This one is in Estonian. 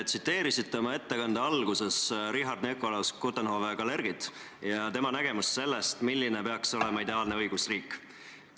Te tsiteerisite oma ettekande alguses Richard Nikolaus von Coudenhove-Kalergit ja tema nägemust sellest, milline peaks olema ideaalne õigusriik.